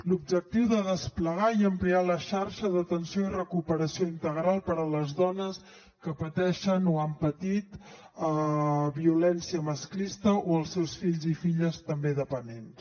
l’objectiu de desplegar i ampliar la xarxa d’atenció i recuperació integral per a les dones que pateixen o han patit violència masclista o per als seus fills i filles també dependents